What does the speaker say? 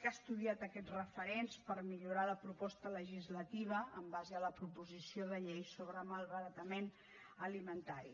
que ha estudiat aquests referents per millorar la proposta legislativa en base a la proposició de llei sobre malbaratament alimentari